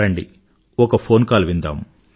రండి ఒక phone call విందాం